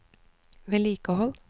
vedlikehold